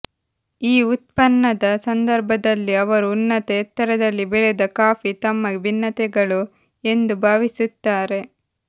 ಈ ಉತ್ಪನ್ನದ ಸಂದರ್ಭದಲ್ಲಿ ಅವರು ಉನ್ನತ ಎತ್ತರದಲ್ಲಿ ಬೆಳೆದ ಕಾಫಿ ತಮ್ಮ ಭಿನ್ನತೆಗಳು ಎಂದು ಭಾವಿಸುತ್ತಾರೆ